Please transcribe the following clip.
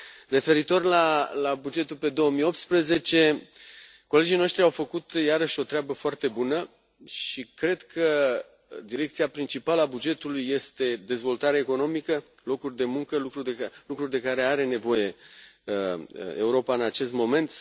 Referitor la bugetul pe 2018, colegii noștri au făcut, iarăși, o treabă foarte bună și cred că direcția principală a bugetului este dezvoltarea economică, locuri de muncă, lucruri de care are nevoie Europa în acest moment.